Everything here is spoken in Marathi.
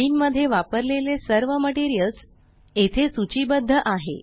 sceneमध्ये वापरलेले सर्व मेटीरियल्स येथे सूचीबद्ध आहे